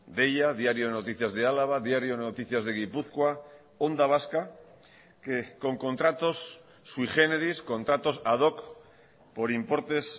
deia diario de noticias de álava diario de noticias de gipuzkoa onda vasca que con contratos sui generis contratos ad hoc por importes